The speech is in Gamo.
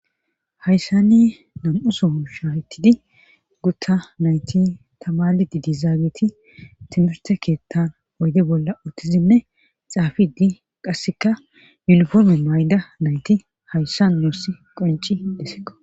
Hayssani nam'usoun shaahyttidi gutta nayti tamali didizaageti timirte keettan oyde bolla uttizinne xaafidi qasseka muniforme may7da nayti hayssa noosi qonci desseko.